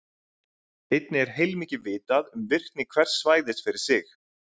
Einnig er heilmikið vitað um virkni hvers svæðis fyrir sig.